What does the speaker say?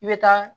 I bɛ taa